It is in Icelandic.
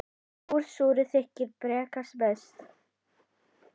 Úr súru þykir bragða best.